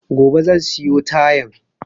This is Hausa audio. Gobe zan siyo tayan